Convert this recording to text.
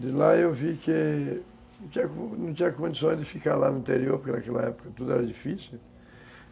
De lá eu vi que não tinha condições de ficar lá no interior, porque naquela época tudo era difícil.